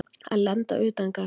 Að lenda utangarðs